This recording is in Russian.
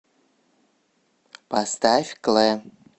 поставь клэ